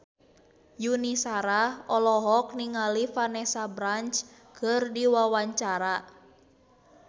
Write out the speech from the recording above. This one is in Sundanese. Yuni Shara olohok ningali Vanessa Branch keur diwawancara